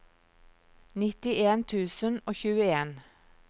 nittien tusen og tjueen